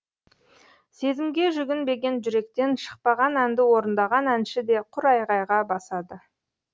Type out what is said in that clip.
сезімге жүгінбеген жүректен шықпаған әнді орындаған әнші де құр айғайға басады